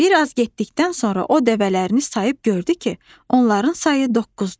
Bir az getdikdən sonra o dəvələrini sayıb gördü ki, onların sayı doqquzdur.